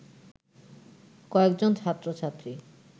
কয়েকজন ছাত্র-ছাত্রী